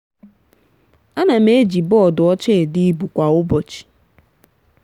anam eji bọọdụ ọcha ede ibu kwa ụbọchi.